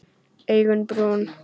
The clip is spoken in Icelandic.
Augun brún.